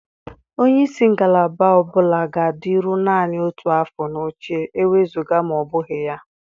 Onye isi ngalaba ọ bụla ga-adịru naanị otu afọ n'oche, ewezuga ma ọ bụghị ya.